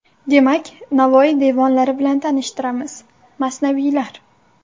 Demak, Navoiy devonlari bilan tanishtiramiz : Masnaviylar.